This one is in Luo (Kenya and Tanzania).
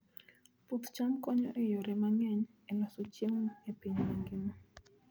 Puoth cham konyo e yore mang'eny e loso chiemo e piny mangima.